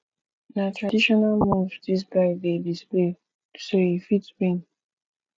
na traditional moves dis guy dey display so o e fit win